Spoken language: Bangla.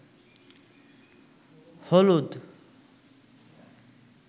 হলুদ